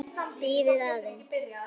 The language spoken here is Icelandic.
Bíðið aðeins.